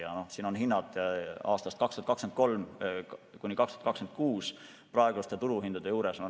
Siin pildil on hinnad aastail 2023–2026 praeguste turuhindade juures.